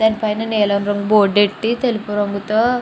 దాని పైన నీలం రంగు బోర్డు ఎట్టి తెలుపు రంగుతో --